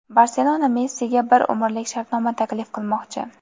"Barselona" Messiga bir umrlik shartnoma taklif qilmoqchi.